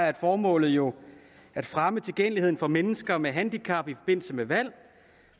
er formålet jo at fremme tilgængeligheden for mennesker med handicap i forbindelse med valg